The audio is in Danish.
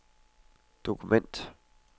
dokument